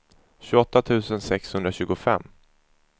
tjugoåtta tusen sexhundratjugofem